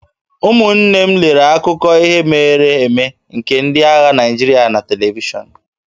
Ụmụnne m lere akụkọ ihe mere eme nke ndị agha Naịjirịa na televishọn